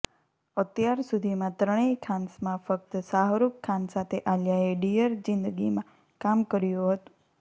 અત્યાર સુધીમાં ત્રણેય ખાન્સમાં ફક્ત શાહરૂખ ખાન સાથે આલિયાએ ડિયર જિંદગીમાં કામ કર્યુ હતુ